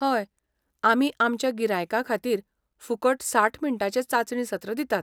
हय, आमी आमच्या गिरायकां खातीर फुकट साठ मिनटांचें चांचणी सत्र दितात.